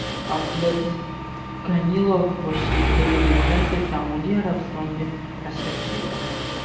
Abdulaziz Kamilov boshchiligidagi delegatsiya Saudiya Arabistoniga tashrif buyuradi.